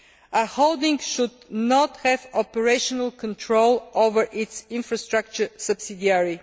A holding should not have operational control over its infrastructure subsidiary.